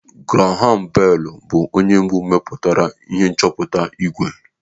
Graham Bell bụ onye mbụ mepụtara ihe nchọpụta ìgwè.